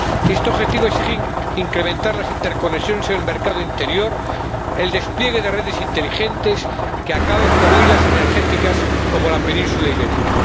Este objetivo exige incrementar las interconexiones en el mercado interior, el despliegue de redes inteligentes que acaben con islas energéticas, como la península ibérica.